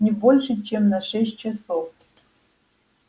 не больше чем на шесть часов